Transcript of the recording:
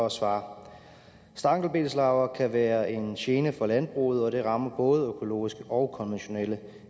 at svare stankelbenslarver kan være en gene for landbruget og de rammer både økologiske og konventionelle